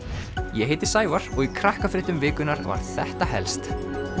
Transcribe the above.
ég heiti Sævar og í Krakkafréttum vikunnar var þetta helst